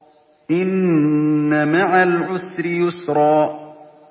إِنَّ مَعَ الْعُسْرِ يُسْرًا